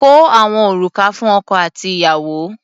Kó àwọn òrùka fún ọkọ àti ìyàwó.